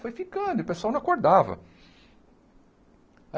Foi ficando e o pessoal não acordava.